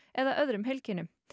eða öðrum heilkennum